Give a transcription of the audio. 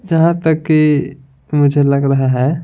जहां तक कि मुझे लग रहा है।